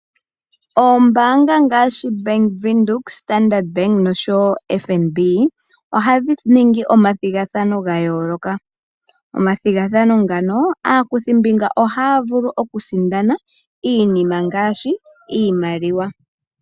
Oombaanga ngaashi Bank Windhoek, Standard Bank noshowoo FNB ohadhi ningi omathigathano gayooloka . Omathigathano ngano, aakuthimbinga ohaya vulu okusindana iinima ngaashi iimaliwa.